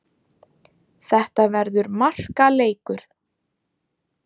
Þetta verður markaleikur.